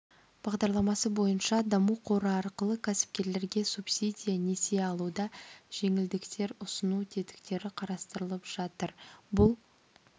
бағдарламасы бойынша даму қоры арқылы кәсіпкерлерге субсидия несие алуда жеңілдіктер ұсыну тетіктері қарастырылып жатыр бұл